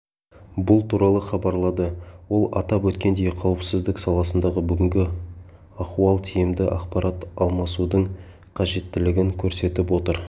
бұл туралы хабарлады ол атап өткендей қауіпсіздік саласындағы бүгінгі ахуал тиімді ақпарат алмасудың қажеттілігін көрсетіп отыр